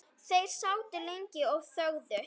Þeir sátu lengi og þögðu.